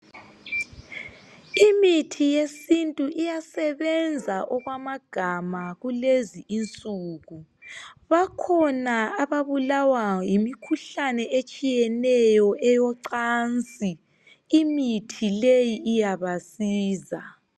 imithi yesintu iyasebnza okwamagama kulezi insuku bakhona ababulawa yimikhuhlane etshiyeneyo eyocansi imithi leyi iyabasiza